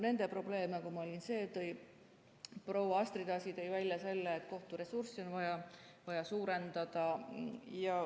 Nende probleem, nagu ma välja tõin, oli see – proua Astrid Asi tõi välja selle –, et kohturessursse on vaja suurendada.